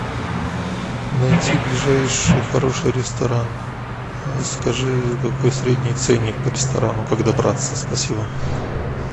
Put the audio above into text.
найти ближайший хороший ресторан скажи какой средний ценник по ресторану как добраться спасибо